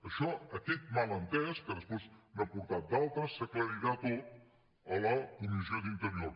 això aquest malentès que després n’ha portat d’altres s’aclarirà tot a la comissió d’interior